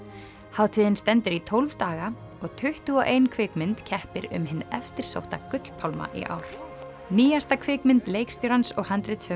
hátíðin stendur í tólf daga og tuttugu og ein kvikmynd keppir um hinn eftirsótta í ár nýjasta kvikmynd leikstjórans og